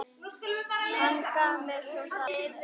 Hann gaf mér svo safnið.